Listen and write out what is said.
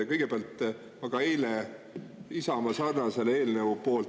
Kõigepealt, ma hääletasin eile Isamaa sarnase eelnõu poolt …